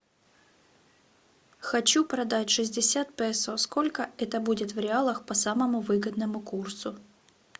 хочу продать шестьдесят песо сколько это будет в реалах по самому выгодному курсу